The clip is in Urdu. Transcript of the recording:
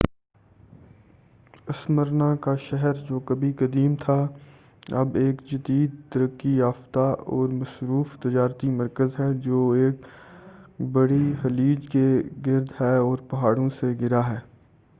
اسمرنا کا شہر جو کبھی قدیم تھا اب ایک جدید ترقّی یافتہ اور مصروف تجارتی مرکز ہے جو ایک بڑی خلیج کے گرد ہے اور پہاڑوں سے گھرا ہے